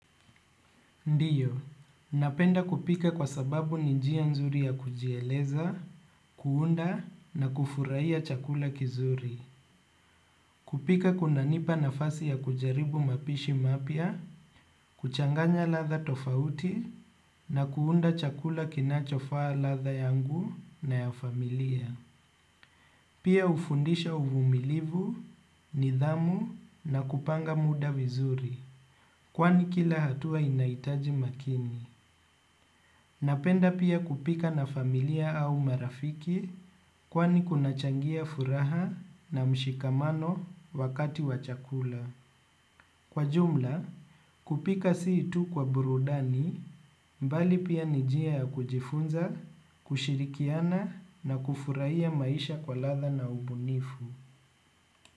Ndio, napenda kupika kwa sababu ni njia nzuri ya kujieleza, kuunda na kufurahia chakula kizuri. Kupika kunanipa nafasi ya kujaribu mapishi mapya, kuchanganya ladha tofauti na kuunda chakula kinachofaa ladha yangu na ya familia. Pia hufundisha uvumilivu, nidhamu na kupanga muda vizuri. Kwani kila hatua inahitaji umakini. Napenda pia kupika na familia au marafiki kwani kunachangia furaha na mshikamano wakati wa chakula. Kwa jumla, kupika si tu kwa burudani mbali pia ni njia ya kujifunza, kushirikiana na kufurahia maisha kwa ladha na ubunifu.